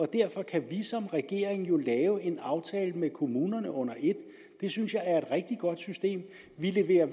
derfor kan vi som regering jo lave en aftale med kommunerne under et det synes jeg er et rigtig godt system vi leverer